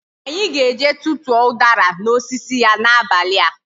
Anyi ga eje tutuo udara na osisi ya na abali a